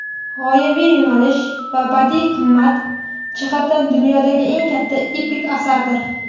g‘oyaviy yo‘nalishi va badiiy qimmati jihatidan dunyodagi eng katta epik asardir.